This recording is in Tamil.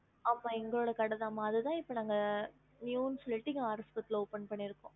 ஆமா எங்களுட கடை தா அதுத இப்போ open பண்ணியிருக்கோம்